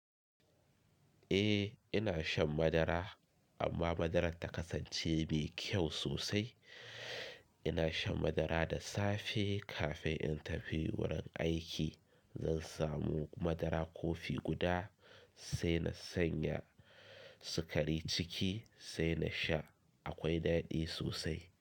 Eh ina shan madara amma madarar ta kasance mai kyau sosai. Ina shan madara da safe kafin in tafi wurin aiki. Zan samu madara kofi guda sai na sanya sukari ciki sai na sha. Akwai daɗi sosai.